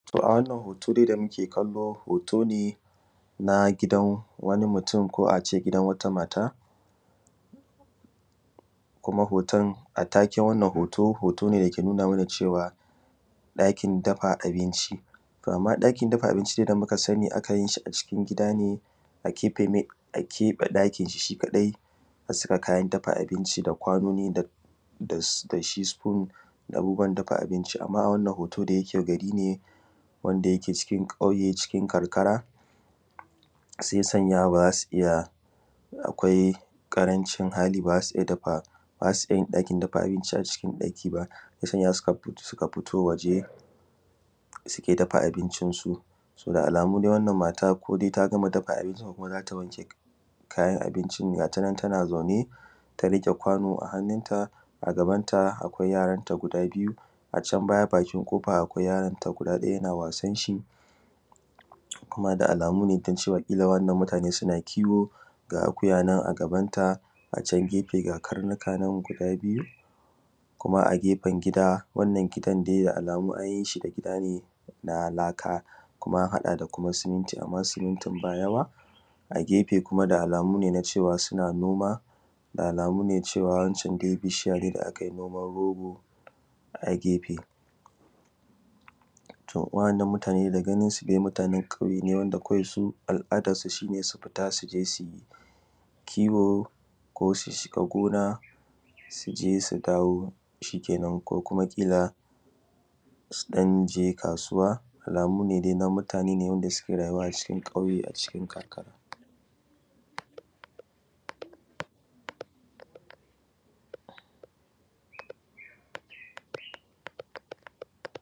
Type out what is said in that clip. To a wannan hoto dai da muke kallo hoto ne na gidan wani mutun ko ace gidan wata mata kuma hoton, a take wannan hoto, hoto ne da yake nuna mana cewa ɗakin dafa abinci. To amma ɗakin dafa abinci da muka sani akan yishi a cikin gida ne a keɓe ɗakinshi kaɗai, asa kayan dafa abinci da kwanoni dashi da da shi spoon da abubuwan dafa abinci a wannan hoton da yakegari ne daya ke cikin kyauye cikin karkara sai sanya bazasu yishi akwai ƙarancin hali bazasu iyya, bazasu iyyayin dafa abinci a cikin ɗaki ba shiya sanya suka fito waje suke dafa abincin su. So da alamu dai wannan mata ko ta gama dafa abinci ko zata wanke kayan abinci ne, gatanan dai tana zaune ta rike kwano a hannun ta a gabanta akwai yaranta guda biyu, a can bayan bakin kofa akwai yaron ta guda ɗaya yana wasanshi kuma da alamu cewa kila wannan mutane suna kiwo ga akuya nan a gabanta a can gefe ga karnuka nan guda biyu. Kuma agefen gida wannan gidan dai da alamu anyishi gida ne na laka kuma an haɗa da kuma siminti amma simintin ba yawa, a gefe kuma da alamu na cewa suna noma da alamu cewa na wancan dai bishiya ne da akai noman rogo a gefe. To wa'anan mutane da ganinsu dai mutanen wanda kawai su al’adan su, shine su fita suje su kiwo ko su shiga gona suje su dawo shikenan ko kuma ƙila su ɗanje kasuwa, alamu ne dai na mutane wanda suke rayuwa a cikin ƙauye cikin karkara.